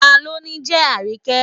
Ta ló ni jẹ́ Àríkẹ́?